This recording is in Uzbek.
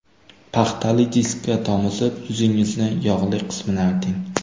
Paxtali diskka tomizib, yuzingizni yog‘li qismini arting.